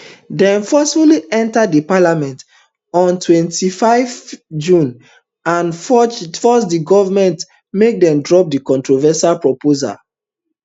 dem forcefully enta di parliament on twenty-five june and force di government make dem drop di controversial proposals